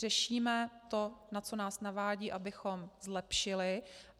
Řešíme to, na co nás navádí, abychom zlepšili.